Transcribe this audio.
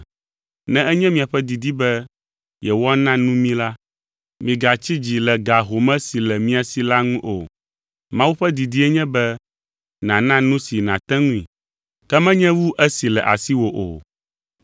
Ne enye miaƒe didi be yewoana nu mí la, migatsi dzi le ga home si le mia si la ŋu o. Mawu ƒe didie nye be nàna nu si nàte ŋui, ke menye wu esi le asiwò o.